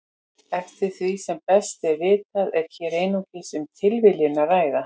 Eftir því sem best er vitað er hér einungis um tilviljun að ræða.